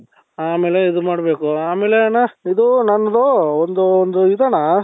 ಆಮೇಲೆ ಇದು ಮಾಡಬೇಕು ಆಮೇಲೆಣ್ಣ ಇದು ನಂದು ಒಂದು ಒಂದು ಇದುಣ್ಣ